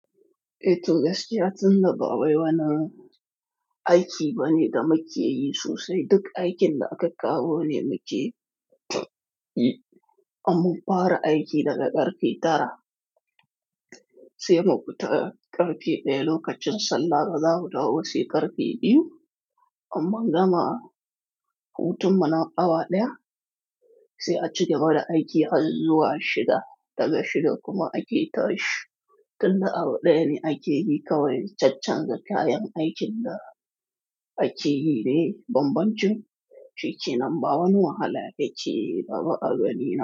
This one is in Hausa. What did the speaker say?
Eh tunas, yatinda ba wai wani aiki bane da mukeyi sosai. Duk aikin da aka kawo ne mukeyi, amma fara aiki daga ƙarfe tara sai mu fita ƙarfe ɗaya lokacin sallah da za mu dawo sai ƙarfe biyu. Amma gama hutun mana awa ɗaya sai a cigaba da aiki har zuwa shida. Daga shida kuma aiki ta yi tun da awa ɗaya ne aiki yi kawai. Chachan da kayan aikin da aiki yi ne bambancin. Shi ke nan bawa wani wahala, yake bawa agani ina.